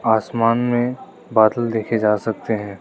आसमान में बादल देखे जा सकते है।